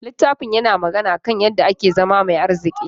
Littafin yana magana kan yadda ake zama mai arziki.